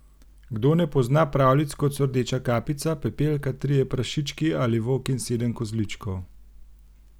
Kdo ne pozna pravljic kot so Rdeča kapica, Pepelka, Trije prašički ali Volk in sedem kozličkov?